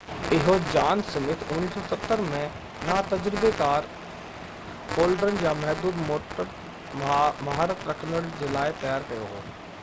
اهو John Smith 1970 ۾ نا تجربيڪار فولڊرن يا محدود موٽر مهارت رکندڙن جي لاءِ تيار ڪيو هو